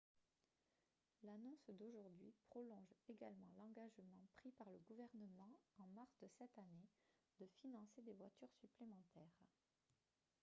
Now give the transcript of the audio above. l'annonce d'aujourd'hui prolonge également l'engagement pris par le gouvernement en mars de cette année de financer des voitures supplémentaires